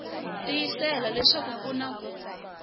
tiyisisa leswaku ku na ku